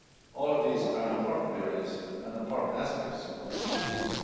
All of these are important areas and important aspects of the Green Deal.